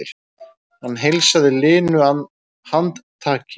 Hann heilsaði linu handtaki.